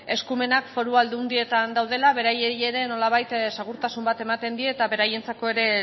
eskumenak foru aldundietan daudela beraiei ere nolabait segurtasun bat ematen die eta beraientzako ere